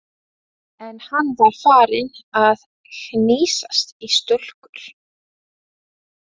En hann var farinn að hnýsast í stúlkur.